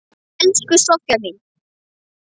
Elsku Soffía mín.